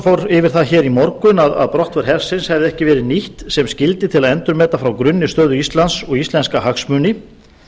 fór yfir það í morgun að brottför hersins hefði ekki verið nýtt sem skyldi til að endurmeta frá grunni stöðu íslands og íslenska hagsmuni